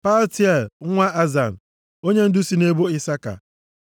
Paltiel nwa Azan, onyendu si nʼebo Isaka.